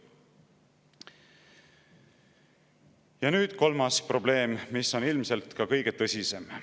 Ja nüüd kolmas probleem, mis on ilmselt ka kõige tõsisem.